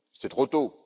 C'est trop tôt.